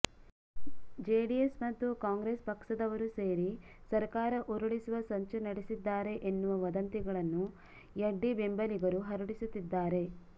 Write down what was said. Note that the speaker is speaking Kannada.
ಜೆೆಡಿಎಸ್ ಮತ್ತು ಕಾಂಗ್ರೆಸ್ ಪಕ್ಷದವರು ಸೇರಿ ಸರಕಾರ ಉರುಳಿಸುವ ಸಂಚು ನಡೆಸಿದ್ದಾರೆ ಎನ್ನುವ ವದಂತಿಗಳನ್ನು ಂುುಡ್ಡಿ ಬೆಂಬಲಿಗರು ಹರಡಿಸುತ್ತಿದ್ದಾರೆ